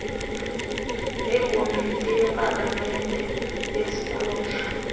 nekomiti yepalamente yezikhundla